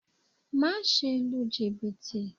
Má ṣe lu jìbìtì